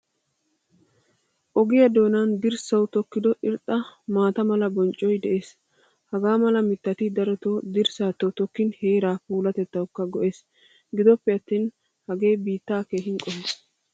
Ogiyaa doonan dirssawu tokkido irxxa maattaa mala bonccoy de'iyobay de'ees. Hagaamala mittatti daroto dirssatto tokkin heerawu puulatettawukka go'ees. Gidoppeattin hage biittaa keehin qohees.